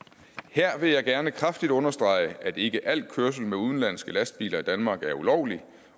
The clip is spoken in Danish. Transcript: her vil jeg gerne kraftigt understrege at ikke al kørsel med udenlandske lastbiler i danmark er ulovlig